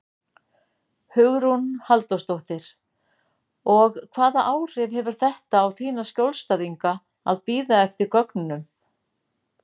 Hugrún Halldórsdóttir: Og hvaða áhrif hefur þetta á þína skjólstæðinga að bíða eftir gögnunum?